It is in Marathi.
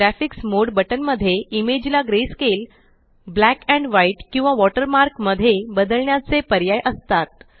ग्राफिक्स मोडे बटन मध्ये इमेज ला ग्रेस्केल ब्लैक एंड व्हाइट किंवा वॉटरमार्क मध्ये बदलण्याचे पर्याय असतात